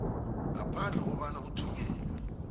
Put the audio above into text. ngaphandle kobana uthunyelelwe